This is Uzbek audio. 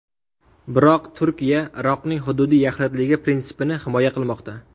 Biroq Turkiya Iroqning hududiy yaxlitligi prinsipini himoya qilmoqda”.